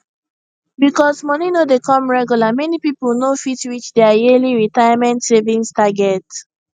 because moni no dey come regular many people no fit reach their yearly retirement savings target